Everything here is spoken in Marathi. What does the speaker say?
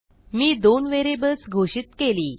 मी दोन व्हेरिएबल्स घोषित केली